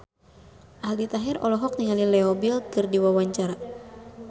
Aldi Taher olohok ningali Leo Bill keur diwawancara